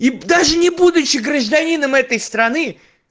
и даже не будучи гражданином этой страны